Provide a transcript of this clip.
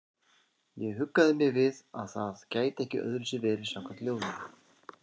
Ég huggaði mig við að það gæti ekki öðruvísi verið samkvæmt ljóðinu.